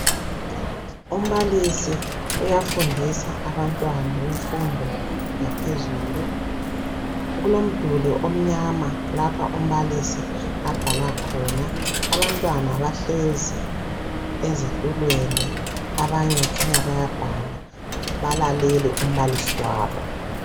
Umbalisi uyafundisa abantwana bemfundo yaphezulu kulomduli omnyama lapha umbalisi abhala khona. Abantwana bahlezi ezitulweni abanye kukhanya bayabhala balalele umbalisi wabo